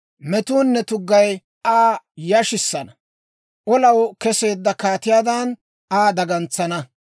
Metuunne tuggay Aa yashissana; olaw keseedda kaatiyaadan Aa dagantsana.